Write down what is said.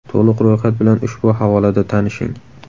To‘liq ro‘yxat bilan ushbu havolada tanishing.